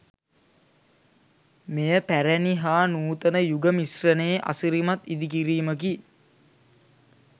මෙය පැරැණි හා නූතන යුග මිශ්‍රණයේ අසිරිමත් ඉදිකිරීමකි.